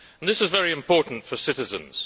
This is very important for citizens.